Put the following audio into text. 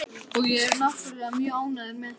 Og ég er náttúrlega mjög ánægður með það.